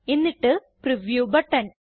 എന്നിട്ട് preview button